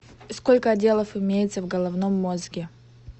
сколько отделов имеется в головном мозге